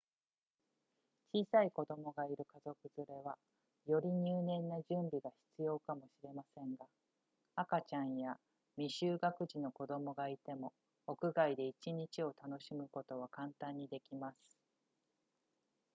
小さい子供がいる家族連れはより入念な準備が必要かもしれませんが赤ちゃんや未就学児の子供がいても屋外で1日を楽しむことは簡単にできます